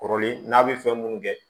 Kɔrɔlen n'a bɛ fɛn minnu kɛ